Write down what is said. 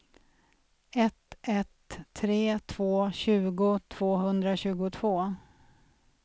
ett ett tre två tjugo tvåhundratjugotvå